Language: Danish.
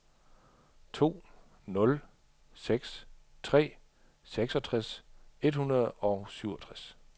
to nul seks tre seksogtres et hundrede og syvogtres